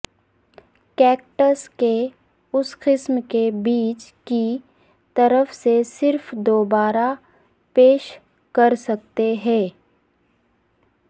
cactus کے اس قسم کے بیج کی طرف سے صرف دوبارہ پیش کر سکتے ہیں